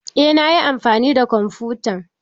Eh nayi amfani da kwamfutan.